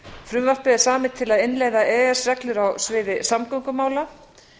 frumvarpið er samið til að innleiða e e s reglur á sviði samgöngumála